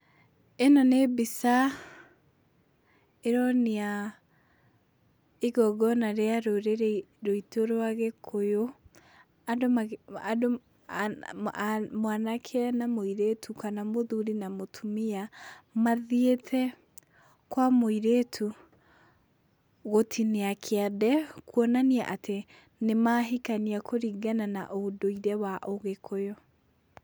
Ĩno nĩ mbica ĩronia igongona rĩa rũrĩrĩ ruitũ rwa gĩkũyũ, andũ andũ mwanake na mũirĩtu kana mũthuri na mũtumia, mathiĩte kwa mũirĩtu gũtinia kĩande, kwonania atĩ nĩmahikania kũringana na ũndũire wa ũgĩkũyũ.